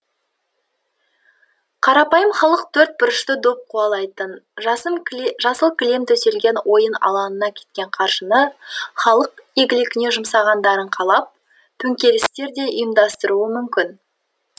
қарапайым халық төртбұрышты доп қуалайтын жасым кілем төселген ойын алаңына кеткен қаржыны халық игілігіне жұмсағандарын қалап төңкерістер де ұйымдастыруы мүмкін